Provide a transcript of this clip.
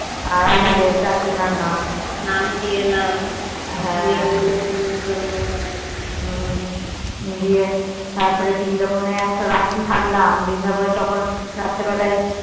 আর আমাদের চার জানার নাম নাম দিয়ে এলাম কি দিয়ে তারপর বৃন্দাবন এ এসে রাত্রি থাকলাম বৃন্দাবনে তখন রাত্রি বেলায়